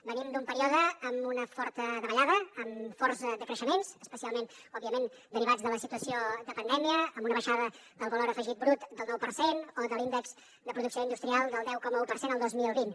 venim d’un període amb una forta davallada amb força decreixements especialment òbviament derivats de la situació de pandèmia amb una baixada del valor afegit brut del nou per cent o de l’índex de producció industrial del deu coma un per cent el dos mil vint